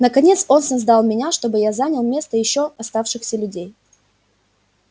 наконец он создал меня чтобы я занял место ещё оставшихся людей